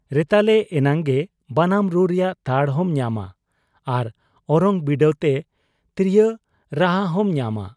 ᱨᱮᱛᱟᱞᱮ ᱮᱱᱟᱝᱜᱮ ᱵᱟᱱᱟᱢ ᱨᱩ ᱨᱮᱭᱟᱜ ᱛᱟᱲ ᱦᱚᱸᱢ ᱧᱟᱢᱟ ᱟᱨ ᱚᱨᱚᱝ ᱵᱤᱰᱟᱹᱣ ᱛᱮ ᱛᱤᱨᱭᱚ ᱨᱟᱦᱟᱦᱚᱸᱢ ᱧᱟᱢᱟ ᱾